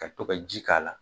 Ka to ka ji k'a la.